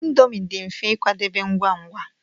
Indomi dị mfe ịkwadebe ngwa ngwa.